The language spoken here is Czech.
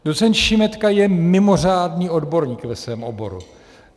Docent Šimetka je mimořádný odborník ve svém oboru.